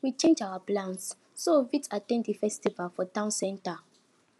we change our plans so we fit at ten d the festivals for town center